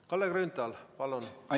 Kalle Grünthal, palun!